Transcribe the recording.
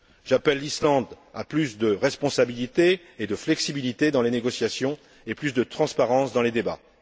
J'appelle l'Islande à plus de responsabilité et de flexibilité dans les négociations et à plus de transparence dans les débats.